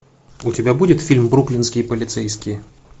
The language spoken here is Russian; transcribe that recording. у тебя будет фильм бруклинские полицейские